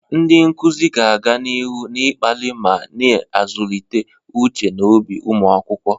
Ndị nkuzi ga-aga n'ihu na-akpali ma na-azụlite uche na obi ụmụ akwụkwọ.